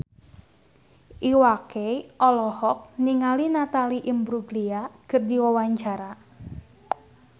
Iwa K olohok ningali Natalie Imbruglia keur diwawancara